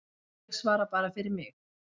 Ég svara bara fyrir mig.